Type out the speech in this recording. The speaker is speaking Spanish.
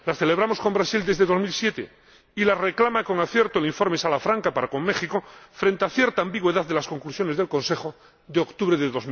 Las celebramos con Brasil desde 2007 y las reclama, con acierto, el informe Salafranca para con México, frente a cierta ambigüedad de las conclusiones del Consejo de octubre de